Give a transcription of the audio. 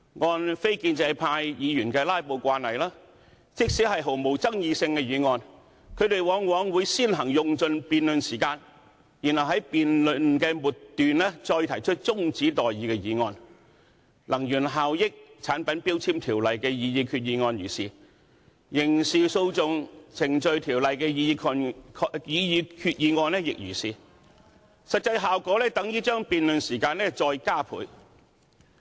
按非建制派議員的"拉布"慣例，即使是毫無爭議性的議案，他們往往會先行用盡辯論時間，然後在辯論末段動議中止待續議案，《能源效益條例》的擬議決議案如是，《刑事訴訟程序條例》的擬議決議案亦如是，實際效果等於把辯論時間再加倍。